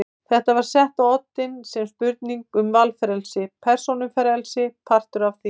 Þetta var sett á oddinn sem spurning um valfrelsi, persónufrelsi, partur af því.